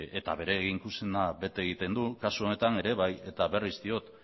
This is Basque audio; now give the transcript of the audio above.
eta bere eginkizuna bete egiten du kasu honetan ere bai eta berriz diot